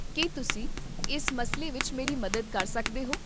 ਕੀ ਤੁਸੀਂ ਇਸ ਮਸਲੇ ਵਿੱਚ ਮੇਰੀ ਮਦਦ ਕਰ ਸਕਦੇ ਹੋ?